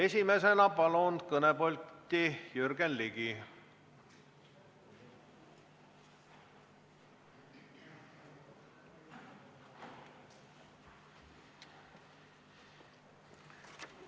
Esimesena palun kõnepulti Jürgen Ligi!